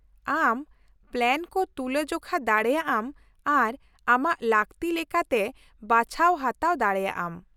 -ᱟᱢ ᱯᱞᱮᱱ ᱠᱚ ᱛᱩᱞᱟᱹᱼᱡᱚᱠᱷᱟ ᱫᱟᱲᱮᱭᱟᱜᱼᱟᱢ ᱟᱨ ᱟᱢᱟᱜ ᱞᱟᱠᱛᱤ ᱞᱮᱠᱟᱛᱮ ᱵᱟᱪᱷᱟᱣ ᱦᱟᱛᱟᱣ ᱫᱟᱲᱮᱭᱟᱜᱼᱟᱢ ᱾